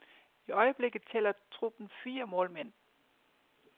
I øjeblikket tæller truppen fire målmænd.